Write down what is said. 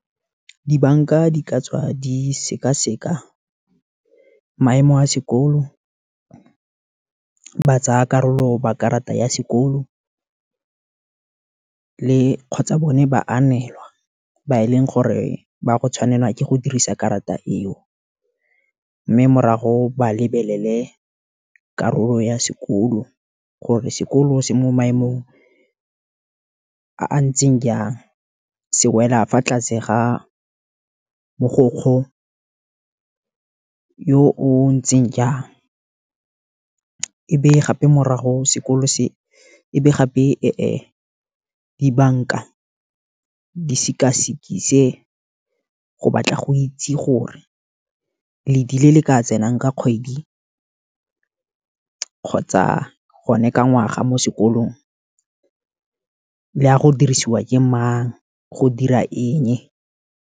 Dibanka di ka tswa di sekaseka maemo a sekolo, ba tsaya karolo ba karata ya sekolo, le kgotsa bone ba anelwa ba e leng gore ba go tshwanelwa ke go dirisa karata eo, mme morago ba lebelele karolo ya sekolo, gore sekolo se mo maemong a a ntseng jang, se wela fa tlase ga mogokgo yo o ntseng jang, e be gape morago sekolo se ebe gape dibanka di sekasikise go batla go itse gore, ledi le le ka tsenang ka kgwedi, kgotsa gone ka ngwaga mo sekolong, le ya go dirisiwa ke mang go dira eng.